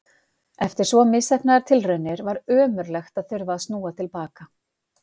Eftir svo misheppnaðar tilraunir var ömurlegt að þurfa að snúa til baka.